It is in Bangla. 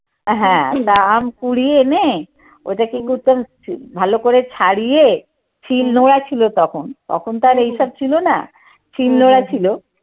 হ্যাঁ আম কুড়িয়ে এনে ওটাকে ভালো করে ছাড়িয়ে খিল নোড়া ছিল তখন। তখন তো আর এইসব ছিল না শিলনোড়া ছিল।